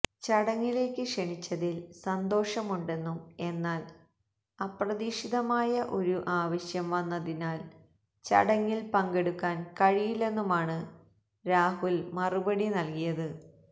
ചടങ്ങിലേക്ക് ക്ഷണിച്ചതില് സന്തോഷമുണ്ടെന്നും എന്നാല് അപ്രതീക്ഷിതമായ ഒരു ആവശ്യം വന്നതിനാല് ചടങ്ങില് പങ്കെടുക്കാന് കഴിയില്ലെന്നുമാണ് രാഹുല് മറുപടി നല്കിയത്